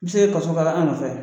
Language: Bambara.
se kaso k'a la an nɔfɛ.